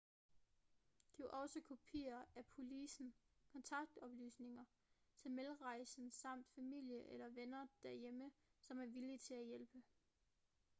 giv også kopier af policen/kontaktoplysninger til medrejsende samt familie eller venner derhjemme som er villige til at hjælpe